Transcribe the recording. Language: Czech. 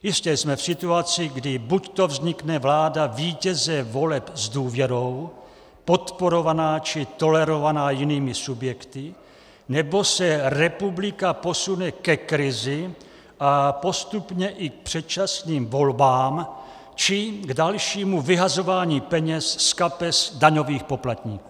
Jistě, jsme v situaci, kdy buď vznikne vláda vítěze voleb s důvěrou podporovaná či tolerovaná jinými subjekty, nebo se republika posune ke krizi a postupně i k předčasným volbám či k dalšímu vyhazování peněz z kapes daňových poplatníků.